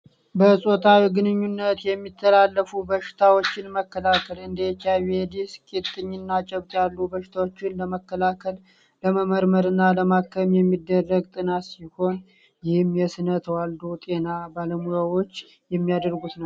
በፆታዊ ግንኙነት የሚተላለፉ በሽታዎችን መከላከል እንዴ ኤች አይቪ፣ ቂጢኝ እና ጨብጥ ያሉ በሽታዎችን ለመከላከል ለመመርመር እና ለማከም የሚደረግ ጥናት ሲሆን፤ ይህም የስነ ተዋልዶ ጤና ባለሙያዎች የሚያደርጉት ነው ።